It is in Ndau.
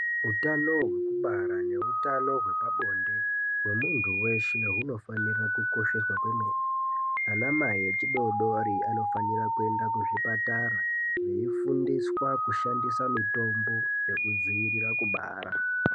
Utano hwekubara neutano hwepabonde hwemunhu weshe hunofanira kukosheswa kwemene. Anamai echidoodori anofanira kuenda kuzvipatara veifundiswa kushandisa mitombo yekudziiriira kubara.